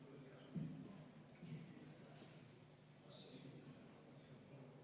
Viimane hoiatus, härra Põlluaas!